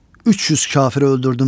300 kafiri öldürdüm.